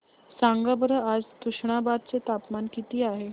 सांगा बरं आज तुष्णाबाद चे तापमान किती आहे